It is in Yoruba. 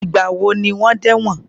Ìgbà wo ni wọ́n dẹ́ ẹ̀wòn?